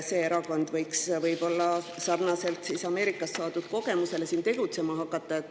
See erakond võib sarnaselt Ameerika kogemusele siin tegutsema hakata.